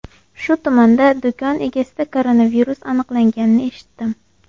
Shu tumanda do‘kon egasida koronavirus aniqlanganini eshitdim.